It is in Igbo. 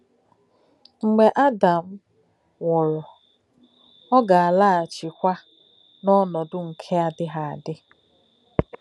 M̀gbè̄ Ádàm nwù̄rù̄, ọ̀ gā-àlà̄ghà̄chí̄kwá̄ n’ònòdú̄ nkè̄ ádị̄ghì̄ ádí̄.